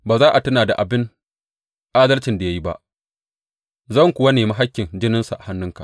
Ba za a tuna da abin adalcin da ya yi ba, zan kuwa nemi hakkin jininsa a hannunka.